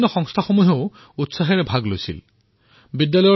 সংস্থাসমূহেও ইয়াত আগবাঢ়ি আহি যোগদান কৰিলে